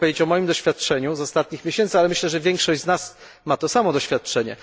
Mogę powiedzieć o moim doświadczeniu z ostatnich miesięcy, ale myślę, że większość z nas ma to samo doświadczenie.